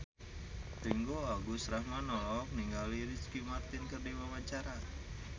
Ringgo Agus Rahman olohok ningali Ricky Martin keur diwawancara